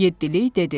Yeddilik dedi.